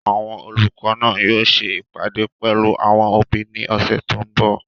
Àwọn olùkọ́ náà yóò ṣe ìpàdé pẹ̀lú àwọn òbí ní ọ̀sẹ̀ tó n bọ̀